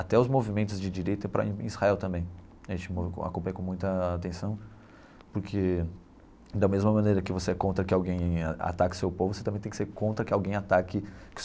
Até os movimentos de direita para em Israel também, a gente acompanha com muita atenção, porque da mesma maneira que você é contra que alguém ataque seu povo, você também tem que ser contra que alguém ataque.